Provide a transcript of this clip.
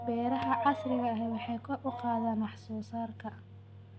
Beeraha casriga ahi waxay kor u qaadaan wax soo saarka.